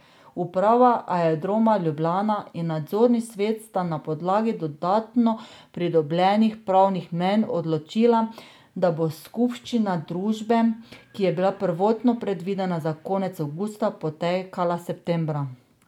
Uprava Aerodroma Ljubljana in nadzorni svet sta na podlagi dodatno pridobljenih pravnih mnenj odločila, da bo skupščina družbe, ki je bila prvotno predvidena za konec avgusta, potekala septembra.